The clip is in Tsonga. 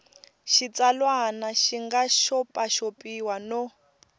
xitsalwana xi nga xopaxopiwa no